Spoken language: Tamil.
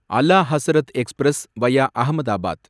Ala Hazrat express, via Ahmedabad